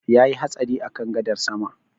Yayi hatsari a kan gadar sama